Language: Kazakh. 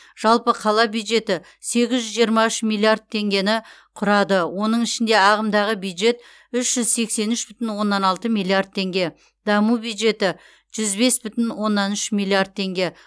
жалпы қала бюджеті сегіз жүз жиырма үш миллиард теңгені құрады оның ішінде ағымдағы бюджет үш жүз сексен үш бүтін оннан алты миллиард теңге даму бюджеті жүз бес бүтін оннан үш миллиард теңге